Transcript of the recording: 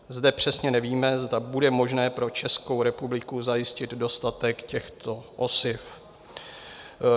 Zde přesně nevíme, zda bude možné pro Českou republiku zajistit dostatek těchto osiv."